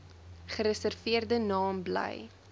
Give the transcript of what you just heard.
gereserveerde naam bly